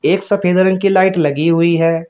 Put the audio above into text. एक सफेद रंग की लाइट लगी हुई है।